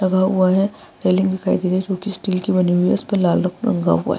लगा हुआ है रेलिंग दिखाई दे रही है जो की स्टील की बनी हुई है इसपे लाल रंग रंगा हुआ है।